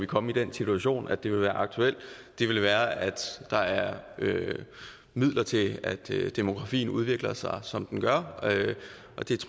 komme i den situation at det vil være aktuelt vil være at der er midler til at demografien udvikler sig som den gør